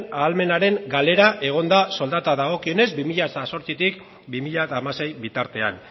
ahalmenaren galera egon da soldatei dagokionez bi mila zortzitik bi mila hamasei bitartean